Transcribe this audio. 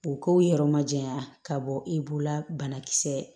O k'o yɛrɛ majɛnya ka bɔ i bolo la banakisɛ